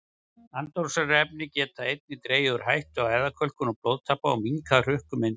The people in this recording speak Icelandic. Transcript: Andoxunarefni geta einnig dregið úr hættu á æðakölkun og blóðtappa og minnkað hrukkumyndun.